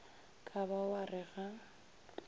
ka ba wa re ga